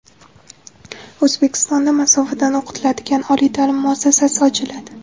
O‘zbekistonda masofadan o‘qitiladigan oliy ta’lim muassasasi ochiladi.